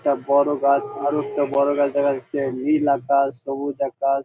একট বড়ো গাছ অনেকটা বড়ো দেখা যাচ্ছে নীল আকাশ সবুজ আকাশ।